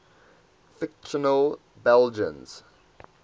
fictional belgians